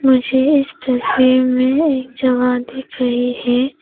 मुझे इस तस्वीर में एक जगह दिख रही है।